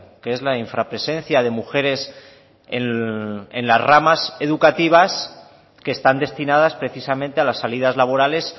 que es la infrapresencia de mujeres en las ramas educativas que están destinadas precisamente a las salidas laborales